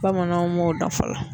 Bamananw m'o dɔn fɔlɔ.